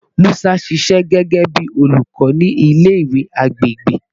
Musa ṣiṣẹ gẹgẹbi olukọ ni ile-iwe agbegbe